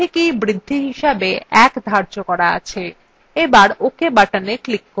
আগে থেকেই বৃদ্ধি হিসাবে 1 ধার্য করা আছে